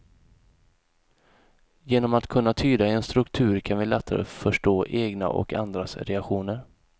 Genom att kunna tyda en struktur kan vi lättare förstå egna och andras reaktioner.